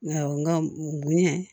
Awɔ n ka bonya